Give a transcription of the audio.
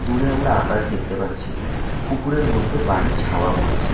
দূরে আমরা আকাশ দেখতে পাচ্ছি পুকুরের মধ্যে বাড়ির ছাওয়া পড়েছে ।